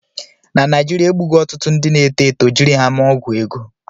Na Naijiria, egbugo ọtụtụ ndị na-eto eto jiri ha mee ọgwụ ego